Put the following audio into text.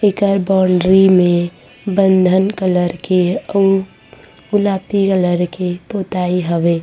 एकर boundary में बंधन colour के अउ गुलापी कलर के पुताई हवे।